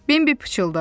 Bembi pıçıldadı.